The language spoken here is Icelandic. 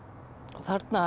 þarna